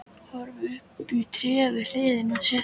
Horfði upp í trén við hliðina á sér.